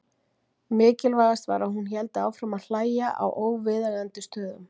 Mikilvægast var að hún héldi áfram að hlæja á óviðeigandi stöðum.